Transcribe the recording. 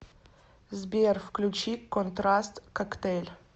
сбер включи контраст коктейль